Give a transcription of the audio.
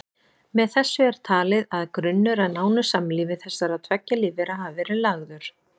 Með þessu er talið að grunnur að nánu samlífi þessara tveggja lífvera hafi verið lagður.